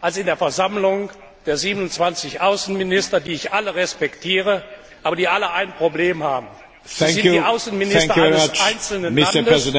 als in der Versammlung der 27 Außenminister, die ich alle respektiere, aber die alle ein Problem haben, sie sind die Außenminister eines einzelnen Landes.